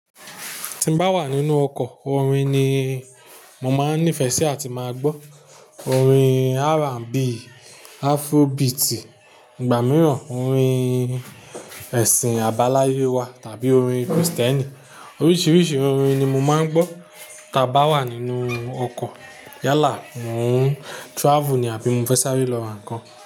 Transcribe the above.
Tí n bá wà nínú ọkọ̀, orin ni mo máa ń nífẹsí á ti máa gbọ́. Orin R and B, Afrobeat, ìgbà mìíràn orin ẹ̀sìn àbáláyé wa tàbí orin Krìstẹ́nì. Oríṣiiríṣii orin ni mo máa ń gbọ́ tá bá wà nínú ọkọ̀. Yálà, mò ń travel ni àbí mo fẹ sáré lọ́ ra nǹkan.